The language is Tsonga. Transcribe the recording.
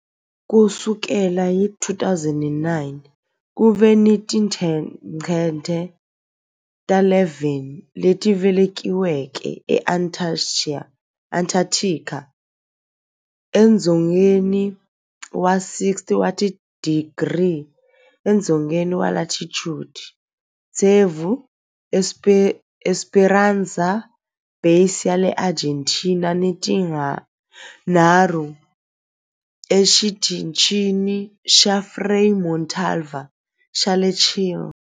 Ku sukela hi 2009, ku ve ni tincece ta 11 leti velekiweke eAntarctica, edzongeni wa 60 wa tidigri edzongeni wa latitude, tsevu eEsperanza Base ya le Argentina ni tinharhu eXitichini xa Frei Montalva xa le Chile.